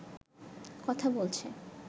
কথা বলছে